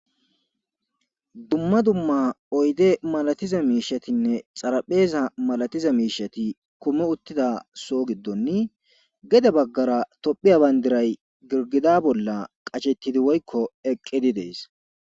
Dumma dumma oyde malatiza miishatinne xarapheeza malatiza miishati kume uttida soo giddonni gede baggara tophiya bayndiray girgida bolla qachettidi woykko eqqidi dees